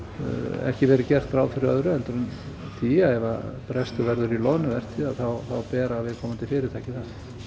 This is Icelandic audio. ekki verið gert ráð fyrir öðru heldur en því að ef brestur verður í loðnuvertíð þá bera viðkomandi fyrirtæki það